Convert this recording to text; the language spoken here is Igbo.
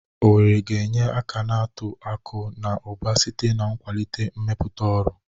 Owerri ga-enye aka na uto akụ na ụba site n'ịkwalite mmepụta ọrụ.